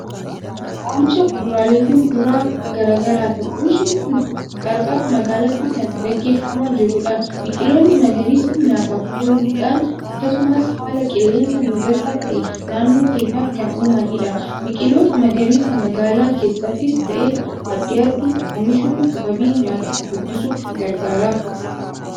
Oomisha kuduraalee fi muduraa garaa garaati. Oomishni kun qarqara magaalaatti kan gaggeeffamaa jirudha. Biqiloonni magariisni nyaataaf ooluudhaan akkasumas haala qilleensa mijataa ta'e naannoo keenyaaf kan uumanidha. Biqiloota magariisa magaalaa keessattis ta'e baadiyaatti oomishuun wabii nyaataa guddisuuf gargaara.